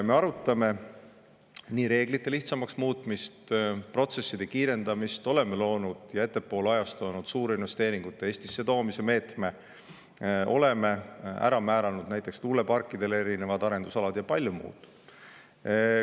Me arutame reeglite lihtsamaks muutmist, protsesside kiirendamist, oleme loonud ja ettepoole ajastanud suurinvesteeringute Eestisse toomise meetme, oleme ära määranud näiteks tuuleparkide erinevad arendusalad ja palju muud.